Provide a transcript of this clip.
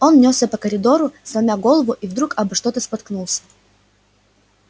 он нёсся по коридору сломя голову и вдруг обо что-то споткнулся